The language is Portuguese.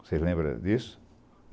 Vocês lembra disso?